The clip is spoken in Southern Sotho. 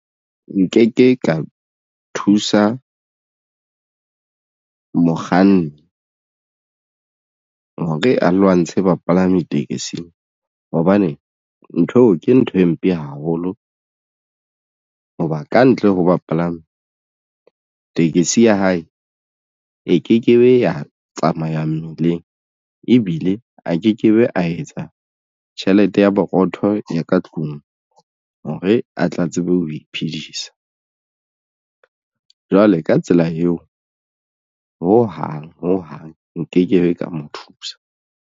Nkeke ka thusa mokganni hore a lwantshe bapalami tekesi hobane ntho eo ke ntho e mpe haholo hoba kantle ho bapalami tekesi ya hae e ke kebe ya tsamaya mmileng ebile a ke ke be ya etsa tjhelete ya boroko motho ya ka tlung hore a tla tsebe ho iphidisa jwale ka tsela eo ho hang ho hang nke kebe ka mo thusa.